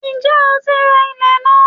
Ǹjẹ́ o ti ra ilẹ̀n náà?